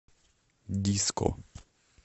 диско